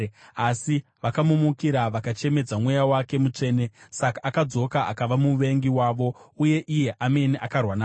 Asi vakamumukira vakachemedza Mweya wake Mutsvene. Saka akashanduka akava muvengi wavo, uye iye amene akarwa navo.